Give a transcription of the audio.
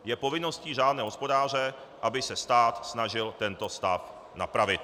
Je povinností řádného hospodáře, aby se stát snažil tento stav napravit.